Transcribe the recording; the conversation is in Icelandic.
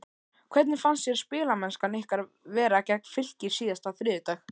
Hvernig fannst þér spilamennskan ykkar vera gegn Fylki síðasta þriðjudag?